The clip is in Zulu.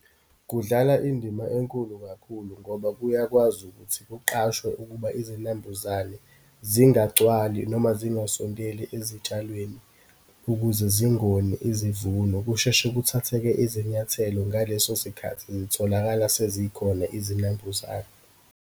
Kudlala indima enkulu kakhulu, ngoba kuyakwazi ukuthi kuqashwe ukuba izinambuzane zingagcwali noma zingasondeli ezitshalweni ukuze zingoni izivuno, kusheshe kuthatheke izinyathelo ngaleso sikhathi zitholakala sezikhona izinambuzane.